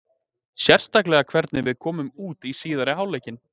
Sérstaklega hvernig við komum út í síðari hálfleikinn.